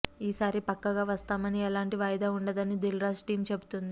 ఈ సారి పక్కగా వస్తామని ఎలాంటి వాయిదా ఉండదని దిల్ రాజు టీం చెబుతోంది